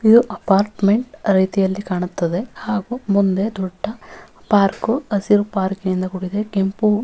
ಇದು ಅಪಾರ್ಟ್ಮೆಂಟ್ ರೀತಿಯಲ್ಲಿ ಕಾಣುತ್ತದೆ ಹಾಗು ಮುಂದೆ ದೊಡ್ಡ ಪಾರ್ಕ್ ಹಸಿರು ಪಾರ್ಕ್ ನಿಂದ ಕೂಡಿದೆ ಕೆಂಪು --